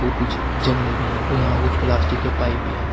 और कुछ जंगले भी हैं और यहां कुछ प्लास्टिक के पाइप भी हैं।